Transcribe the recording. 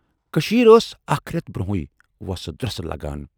کٔشیٖرِ ٲس اَکھ رٮ۪تھ برونہےٕ وۅسہٕ درۅسہٕ لگان۔